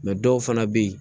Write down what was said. dɔw fana bɛ yen